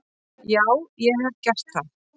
Já ég hef gert það.